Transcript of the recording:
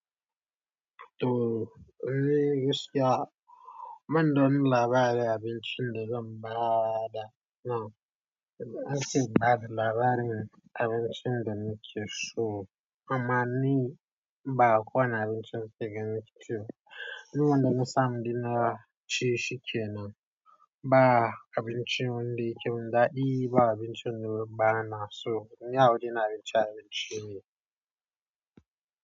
To lelle gaskiya banda wani labari abincin de zai bada now ance in bada labarin abincin da nike so. Ama ni ba ko wani abincin nake gani nake ci ba. Ni wanda na sa mu dinna ci shikenan ba abin ci wundi. Kemin daɗi ba abin cin daɓɓanas So ni awurina abinci abinci ne.